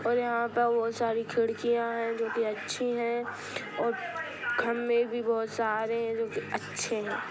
और यहा पे बहुत सारी खिड़कीया है जोकी अच्छी है। और क खम्भे भी बहुत सारे है जोकी अच्छे है ।